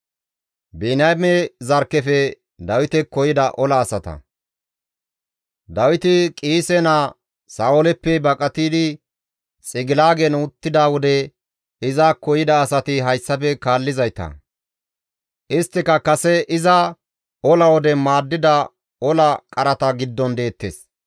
Dawiti Qiise naa Sa7ooleppe baqatidi Xigilaagen uttida wode izakko yida asati hayssafe kaallizayta; isttika kase iza ola wode iza maaddida ola qarata giddon deettes.